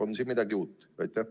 On siin midagi uut?